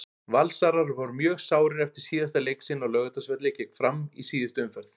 Valsarar voru mjög sárir eftir síðasta leik sinn á Laugardalsvelli gegn Fram í síðustu umferð.